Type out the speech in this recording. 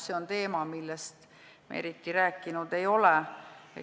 See on teema, millest me eriti rääkinud ei ole.